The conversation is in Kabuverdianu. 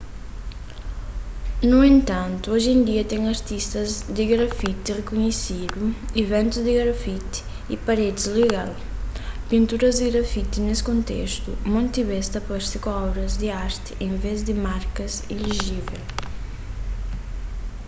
nu entantu oji en dia ten artistas di grafiti rikunhesidu iventus di grafiti y paredis legal pinturas di grafiti nes kontestu monti bês ta parse ku obras di arti en vês di markas ilejivel